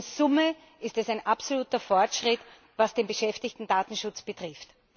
Aber in Summe ist es ein absoluter Fortschritt, was den Beschäftigtendatenschutz betrifft.